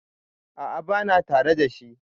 A'a, bana tare da shi.